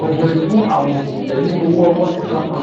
gọbọí fún àwọn òṣìṣẹ́ ní ọ̀wọ́ owó sísan kan